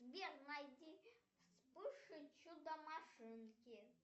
сбер найди вспыш и чудо машинки